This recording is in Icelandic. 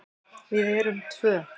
Við erum tvö.